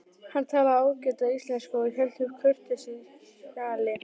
Hann talaði ágæta íslensku og hélt uppi kurteisishjali.